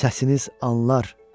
Səsiniz anlar.